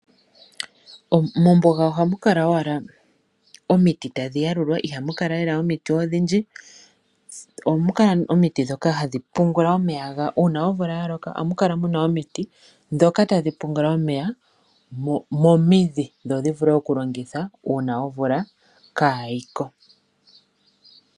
Mombuga oha mu kala owala omiti tadhi yalulwa iha mu kala lela omiti odhindji, oha mu kala omiti ndhoka hadhi pungula omeya uuna omvula ya loka momidhi dho dhi vule okulongitha uuna omvula kaa yiko.